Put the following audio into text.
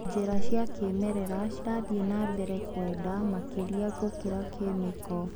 Njĩra cia kĩmerera cirathi nambere kwenda makĩria gũkĩra kĩmĩko.